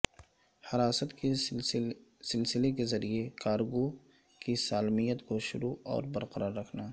حراست کے سلسلے کے ذریعہ کارگو کی سالمیت کو شروع اور برقرار رکھنا